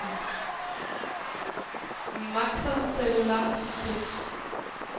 Maxon Cellular Systems